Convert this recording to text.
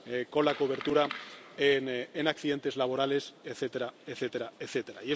con la cobertura en accidentes laborales, etcétera, etcétera, etcétera.